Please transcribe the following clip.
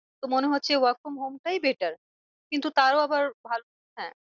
তো মনে হচ্ছে work from home টাই better কিন্তু তারও আবার হ্যাঁ